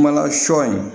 Mana sɔ in